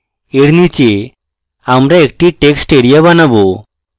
এর নীচে আমরা একটি text এরিয়া বানাবো